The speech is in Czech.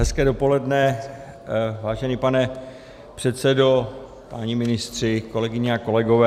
Hezké dopoledne, vážený pane předsedo, páni ministři, kolegyně a kolegové.